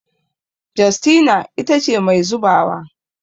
Justina ita ce Mai zubawa